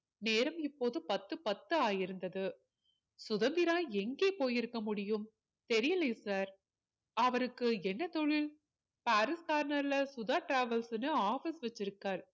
நேரம் இப்போது பத்து பத்து ஆகி இருந்தது சுதந்திரா எங்கே போயிருக்க முடியும் தெரியலயே sir அவருக்கு என்ன தொழில் பாரிஸ் corner ல சுதா travels ன்னு office வச்சி இருக்காரு